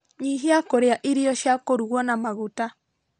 Nyihia kũrĩa irio cia kũrugwo na maguta